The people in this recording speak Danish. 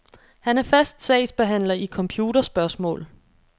Han er fast sagsbehandler i computerspørgsmål.